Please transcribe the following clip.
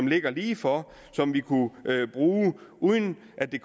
ligger lige for som vi kunne bruge uden at det